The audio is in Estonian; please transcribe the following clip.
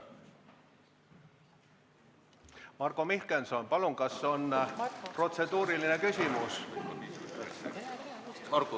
Marko Mihkelson, palun, kas on protseduuriline küsimus?